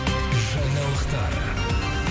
жаңалықтар